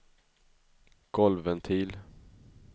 golvventil